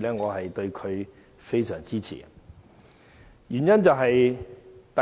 員，我非常支持他。